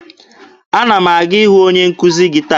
Ana m aga ịhụ onye nkuzi gị taa.